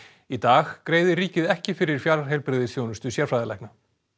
í dag greiðir ríkið ekki fyrir fjarheilbrigðisþjónustu sérfræðilækna